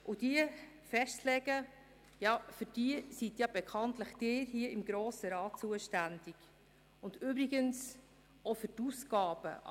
Um diese festzulegen sind bekanntlich Sie seitens des Grossen Rats zuständig, und übrigens auch für die Ausgaben.